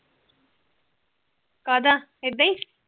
ਕਾਦਾ ਇਦਾ ਈ